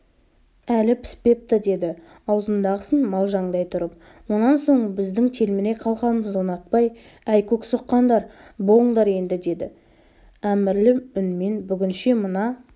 әлі піспепті деді аузындағысын малжаңдай тұрып онан соң біздің телміре қалғанымызды ұнатпай әй көксоққандар болыңдар енді деді әмірлі үнменбүгінше мына